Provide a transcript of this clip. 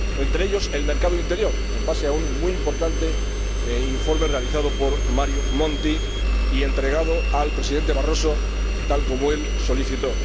Entre ellos, el mercado interior, en base a un muy importante informe realizado por Mario Monti y entregado al Presidente Barroso, tal como él solicitó.